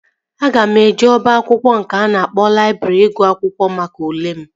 Aga m eje oba akwụkwọ nke a na-akpọ laịbrị ịgụ akwụkwọ maka ule m